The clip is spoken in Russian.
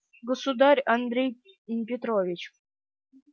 государь андрей петрович